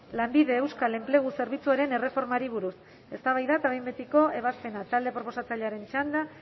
lanbide euskal enplegu zerbitzuaren erreformari buruz eztabaida eta behin betiko ebazpena talde proposatzailearen txanda